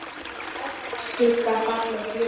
Skuggar falla á glugga.